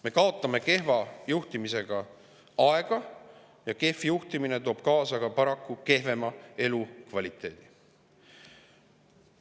Me kaotame kehva juhtimisega aega ja kehv juhtimine toob paraku kaasa ka kehvema elukvaliteedi.